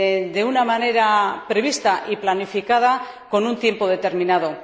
de una manera prevista y planificada con un tiempo determinado?